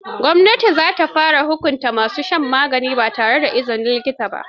Gwamnati za ta fara hukunta ma su shan magani ba tare da izinin likita ba.